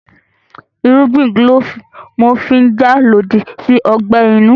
Irúgbìn kílòfù ní wọ́n fi n jà lòdì sí ọgbẹ́ inú